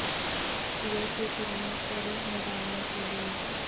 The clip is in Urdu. چھٹیوں کی فلموں کو روح میں ڈالنے کے لئے